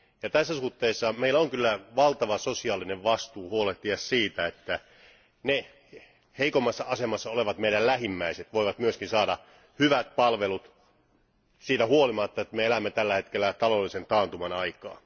Tässä suhteessa meillä on kyllä valtava sosiaalinen vastuu huolehtia siitä, että ne heikommassa asemassa olevat lähimmäisemme voivat myöskin saada hyvät palvelut siitä huolimatta, että me elämme tällä hetkellä taloudellisen taantuman aikaa.